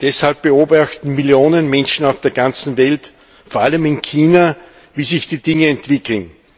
Deshalb beobachten Millionen Menschen auf der ganzen Welt, vor allem in China, wie sich die Dinge entwickeln.